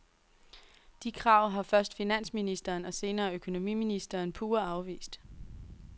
De krav har først finansministeren og senere økonomiministeren pure afvist.